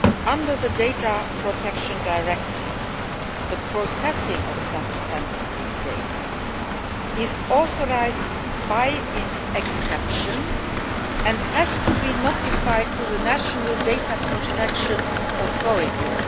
Under the Data Protection Directive, the processing of such sensitive data is authorised by way of exception and has to be notified to the national data protection authorities.